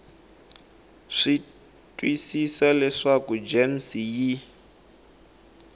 swi twisisa leswaku gems yi